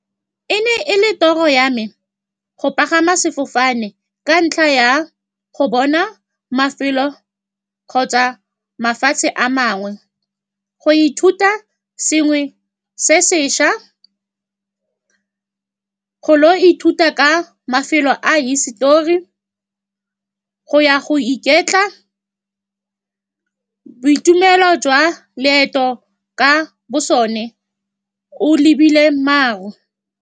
E ne e le toro ya me go pagama sefofane, ka ntlha ya go bona mafelo kgotsa mafatshe a mangwe, go ithuta sengwe se sešwa, golo, ithuta ka mafelo a hisitori, go ya go iketla, boitumelo jwa loeto ka bo sone, o lebile maru.